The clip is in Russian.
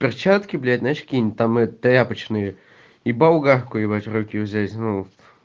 перчатки блять знаешь какие-нибудь там тряпочные и болгарку блять в руки взять ну